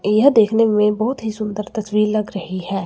यह देखने में बहोत ही सुंदर तस्वीर लग रही है।